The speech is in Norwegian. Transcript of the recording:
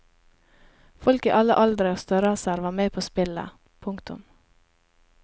Folk i alle aldre og størrelser var med på spillet. punktum